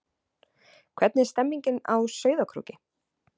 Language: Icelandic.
Hvernig er stemningin á Sauðárkróki?